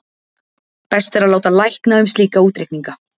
Best er að láta lækna um slíka útreikninga.